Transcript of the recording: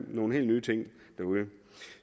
nogle helt nye ting derude